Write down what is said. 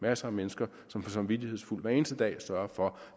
masser af mennesker som samvittighedsfuldt hver eneste dag sørger for